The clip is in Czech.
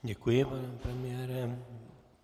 Děkuji, pane premiére.